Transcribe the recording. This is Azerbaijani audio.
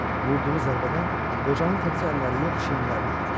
Vurduğu zərbədən qocanın təkcə əlləri yox, çiyinləri də ağrıdı.